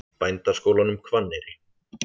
Bændaskólanum Hvanneyri